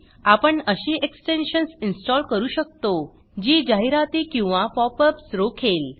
आपण अशी extensions install करू शकतो जी जाहिराती किंवा पॉपअप्स रोखेल